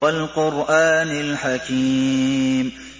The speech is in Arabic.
وَالْقُرْآنِ الْحَكِيمِ